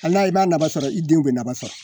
Al'a b'a nafa sɔrɔ i denw bɛ nafa sɔrɔ